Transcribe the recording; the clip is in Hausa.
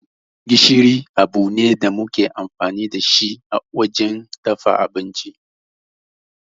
Gishiri abu ne da muke amfani da shi wajen dafa abinci.